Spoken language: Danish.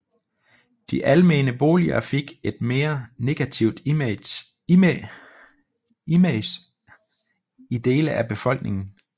De almene boliger fik et mere negativt image i dele af befolkningen